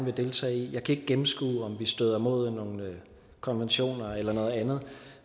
vil deltage i jeg kan ikke gennemskue om vi støder mod nogle konventioner eller noget andet